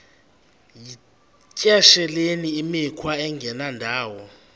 yityesheleni imikhwa engendawo